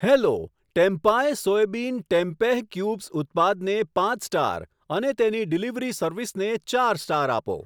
Hello Tempay soybean tempeh cubes ઉત્પાદને પાંચ star અને તેની ડિલિવરી સર્વિસને ચાર સ્ટાર આપો.